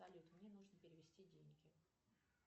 салют мне нужно перевести деньги